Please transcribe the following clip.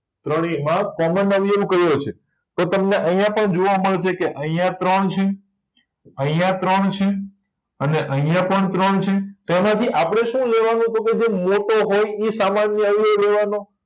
ત્રણેયમાં common અવયવ કયો છે તો તમને આયા પણ જોવા મળશે કે આયા ત્રણ છે આયા ત્રણ છે અને આયા પણ ત્રણ છે તો આમાંથી આપણે શું જોવાનું તો કે ભાઈ મોટો હોય ઇ સામાન્ય અવયવ લેવાનો